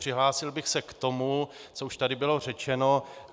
Přihlásil bych se k tomu, co už tady bylo řečeno.